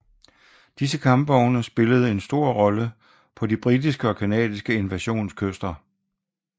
Disse kampvogne spillede en stor rolle på de britiske og canadiske invasionskyster